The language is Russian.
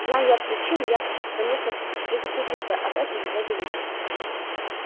знай я причину я конечно предупредил бы об этом его величество